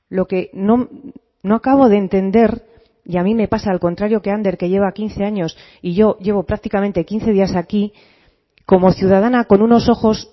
lo que no acabo de entender y a mí me pasa al contrario que a ander que lleva quince años y yo llevo prácticamente quince días aquí como ciudadana con unos ojos